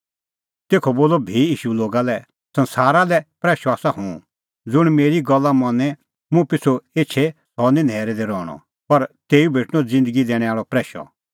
तेखअ बोलअ भी ईशू लोगा लै संसारा लै प्रैशअ आसा हुंह ज़ुंण मेरी गल्ला मनी मुंह पिछ़ू एछे सह निं न्हैरै दी रहणअ पर तेऊ भेटणअ ज़िन्दगी दैणैं आल़अ प्रैशअ